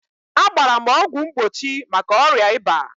A gbara m ọgwụ mgbochi maka ọrịa ịba.